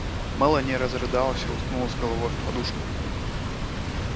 мелани разрыдалась и уткнулась головой в подушку